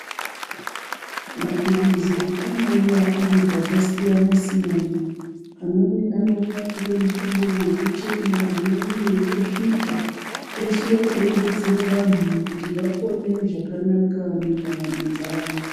Mapirizi anouya aripakasiyana siyana amweni anouya nemihlobo yekuchema mweni ane wekusvipa eshe eibetsera vanhu kuti vapone zvakanaka mundaramo dzavo .